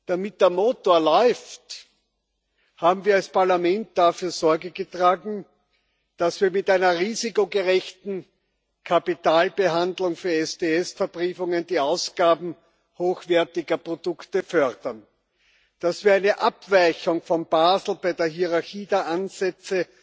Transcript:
Damit der Motor läuft, haben wir als Parlament dafür Sorge getragen, dass wir mit einer risikogerechten Kapitalbehandlung für STS Verbriefungen die Ausgaben hochwertiger Produkte fördern, dass wir eine Abweichung von Basel bei der Hierarchie der Ansätze